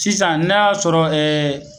Sisan na sɔrɔ ɛɛ